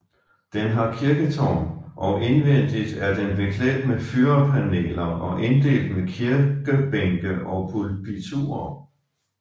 Den har kirketårn og indvendigt er den beklædt med fyrrepaneler og inddelt med kirkebænke og pulpiturer